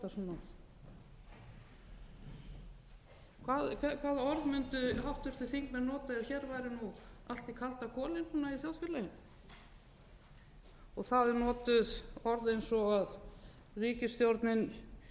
hvaða orð mundu háttvirtir þingmenn nota ef hér væri nú allt í kaldakoli í þjóðfélaginu það eru notuð orð eins og að ríkisstjórnin hafi ekkert fram að færa